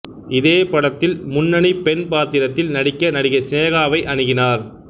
இதே படத்தில் முன்னணி பெண் பாத்திரத்தில் நடிக்க நடிகை சினேகாவை அணுகினார்